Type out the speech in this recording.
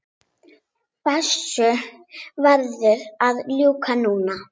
Þessu verður að ljúka núna